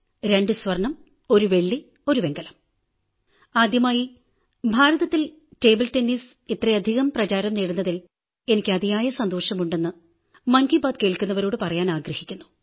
രണ്ട് സ്വർണ്ണം ഒരു വെള്ളി ഒരു വെങ്കലം ആദ്യമായി ഭാരതത്തിൽ ടേബിൾ ടെന്നീസ് ഇത്രയധികം പ്രചാരം നേടുന്നതിൽ എനിക്ക് അതിയായ സന്തോഷമുണ്ടെന്ന് മൻകീ ബാത് കേൾക്കുന്നവരോടു പറയാനാഗ്രഹിക്കുന്നു